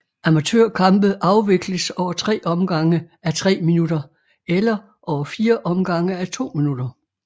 Amatørkampe afvikles over tre omgange à tre minutter eller over fire omgange à to minutter